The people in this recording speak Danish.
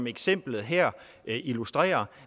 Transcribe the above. eksemplet her illustrerer